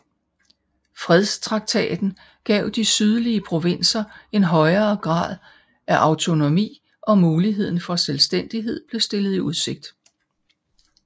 Fredstraktaten gav de sydlige provinser en højere grad af autonomi og muligheden for selvstændighed blev stillet i udsigt